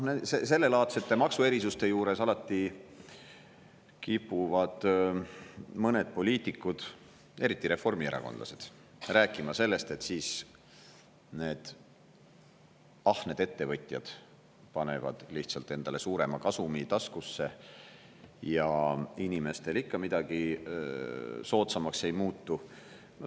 Sellelaadsete maksuerisuste puhul alati kipuvad mõned poliitikud, eriti reformierakondlased, rääkima sellest, et ahned ettevõtjad panevad lihtsalt endale suurema kasumi taskusse ja inimestele ikka midagi soodsamaks ei muutu.